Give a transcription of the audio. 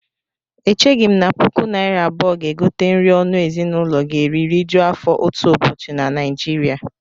Echeghị m na puku naira abụọ ga-egote nri ọnụ ezinụlọ ga-eri rijuo afọ otu ụbọchị na Naịjiria